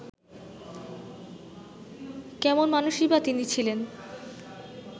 কেমন মানুষই বা তিনি ছিলেন